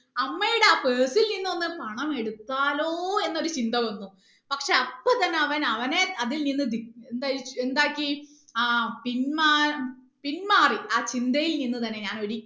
അമ്മയുടെ ആ purse ൽ നിന്ന് ഒന്ന് പണം എടുത്താലോ എന്ന് ഒര് ചിന്ത വന്നു പക്ഷെ അപ്പൊ തന്നെ അവൻ അവനെ അതിൽ നിന്ന് ധി എന്തായി എന്താക്കി ആ പിൻമാ പിൻമാറി ആ ചിന്തയിൽ നിന്ന് തന്നെ ഞാൻ